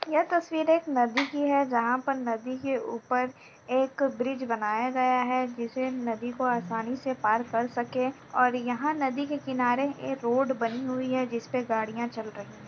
यह तस्वीर एक नदी की है जहां पर नदी के ऊपर एक ब्रिज बनाया गया है जिससे नदी को आसानी से पार कर सके और यहाँ नदी के किनारे एक रोड बनी हुई है जिस पर गाड़ियां चल रही हैं।